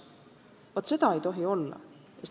Vaat seda ei tohi olla.